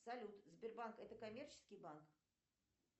салют сбербанк это коммерческий банк